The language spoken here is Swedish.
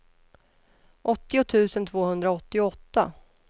åttio tusen tvåhundraåttioåtta